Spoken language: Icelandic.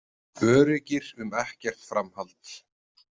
Öruggir um ekkert framhald.